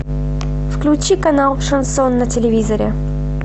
включи канал шансон на телевизоре